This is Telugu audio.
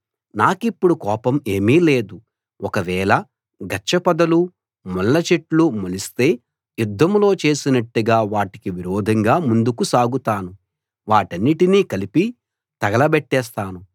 నాకిప్పుడు కోపం ఏమీ లేదు ఒకవేళ గచ్చ పొదలూ ముళ్ళ చెట్లూ మొలిస్తే యుద్ధంలో చేసినట్టుగా వాటికి విరోధంగా ముందుకు సాగుతాను వాటన్నిటినీ కలిపి తగలబెట్టేస్తాను